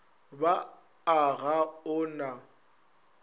ba a ga o na